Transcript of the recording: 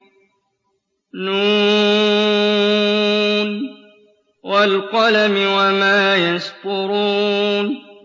ن ۚ وَالْقَلَمِ وَمَا يَسْطُرُونَ